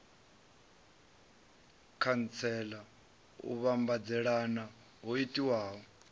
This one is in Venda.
khantsela u vhambadzelana ho itiwaho